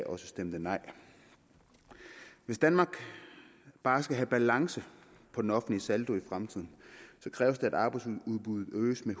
også stemte nej hvis danmark bare skal have balance på den offentlige saldo i fremtiden så kræves der at arbejdsudbuddet øges med